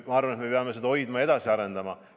Ma arvan, et me peame seda usaldust hoidma ja edasi arendama.